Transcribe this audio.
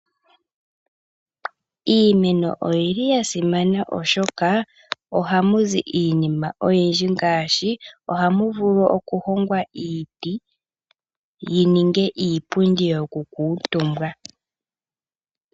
Iimeno oyili yasimana ishoka oha mu zi iinima oyindji ngaashi oha muvuli okuhongwa iiti yininge iipundi yivule oku kuutumbwa